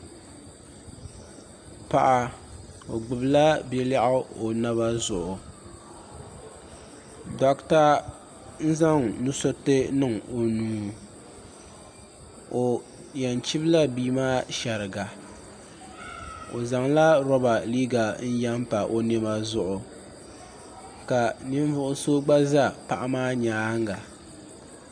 paɣ' o gbala bia lɛɣigu o naba zuɣ' dogita zaŋ nuusuritɛ niŋ o nuu o yan chibila bia maa shɛriŋa o zaŋ la roba yɛn pa o nɛma zuɣ' ka nin vugisu gba za o nyɛŋa